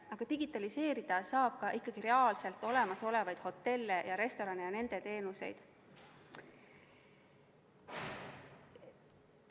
Aga digitaliseerida saab ikkagi reaalselt olemasolevaid hotelle ja restorane ja nende teenuseid.